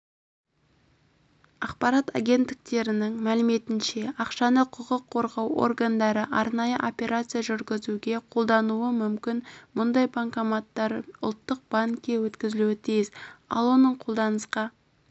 ақпарат агенттіктерінің мәліметінше ақшаны құқық қорғау органдары арнайы операция жүргізуге қолдануы мүмкін мұндай банкноттар ұлттық банкке өткізілуі тиіс ал оның қолданысқа